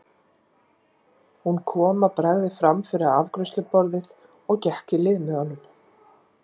Hún kom að bragði fram fyrir afgreiðsluborðið og gekk í lið með honum.